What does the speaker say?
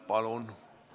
Palun!